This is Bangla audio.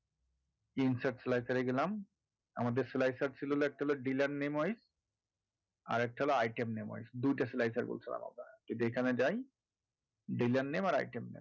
insert slicer এ গেলাম আমাদের slicer ছিল হলো একটা হলো dealer name wise আর একটা হলো item name wise দুইটা slicer করেছিলাম আমরা যদি এখানে যাই dealer name আর item name